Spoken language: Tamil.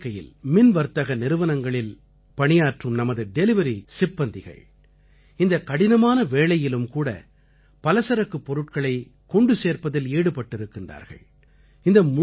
பெரிய எண்ணிக்கையில் மின்வர்த்தக நிறுவனங்களில் பணியாற்றும் நமது டெலிவரி சிப்பந்திகள் இந்தக் கடினமான வேளையிலும்கூட பலசரக்குப் பொருட்களை கொண்டு சேர்ப்பதில் ஈடுபட்டிருக்கின்றார்கள்